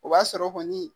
O b'a sɔrɔ kɔni